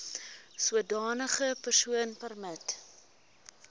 sodanige persoon permanent